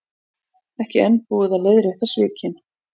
Ekki enn búið að leiðrétta svikin